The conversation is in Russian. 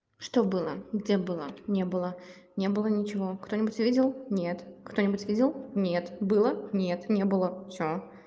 что было где было не было не было ничего кто нибудь видел нет кто нибудь видел нет было нет не было всё